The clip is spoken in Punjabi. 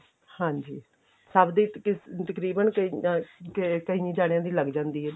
ਹਾਂਜੀ ਸਭ ਦੇ ਤਕਰੀਬਨ ਕਈ ਕਈ ਜਾਣਿਆਂ ਦੀ ਲੱਗ ਜਾਂਦੀ ਏ